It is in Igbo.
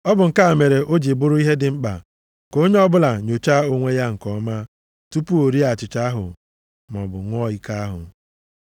Ọ bụ nke a mere o ji bụrụ ihe dị mkpa ka onye ọbụla nyochaa onwe ya nke ọma tupu o rie achịcha ahụ maọbụ ṅụọ iko ahụ.